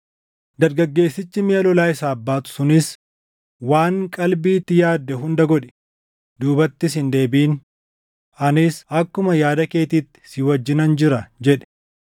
Dargaggeessichi miʼa lolaa isaaf baatu sunis, “Waan qalbiitti yaadde hunda godhi; duubattis hin deebiʼin; anis akkuma yaada keetiitti si wajjinan jira” jedhe.